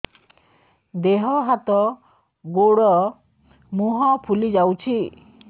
ଦେହ ହାତ ଗୋଡୋ ମୁହଁ ଫୁଲି ଯାଉଛି